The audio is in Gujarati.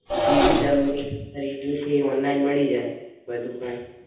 જે ભી તમને ખરીદવુંછે ઓનલાઇન મળી જાય બધું કાય.